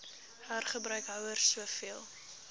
hergebruik houers soveel